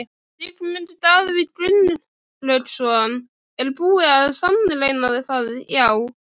Sigmundur Davíð Gunnlaugsson: Er búið að sannreyna það já?